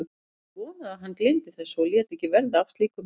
Ég vonaði að hann gleymdi þessu og léti ekki verða af slíkum heimsóknum.